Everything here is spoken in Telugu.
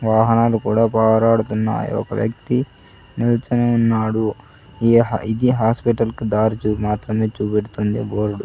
వాహనాలు కూడా బారాడుతున్నాయి ఒక వ్యక్తి నిల్చోని ఉన్నాడు ఈ ఇది హాస్పిటల్ కి దారి చూపు మాత్రమే చూపెడుతుంది బోర్డు.